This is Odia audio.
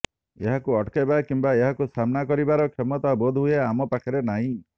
ଏହାକୁ ଅଟକାଇବା କିମ୍ବା ଏହାକୁ ସାମ୍ନା କରିବାର କ୍ଷମତା ବୋଧହୁଏ ଆମ ପାଖରେ ନାହିଁ